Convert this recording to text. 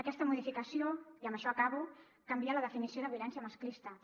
aquesta modificació i amb això acabo canvia la definició de violència masclista també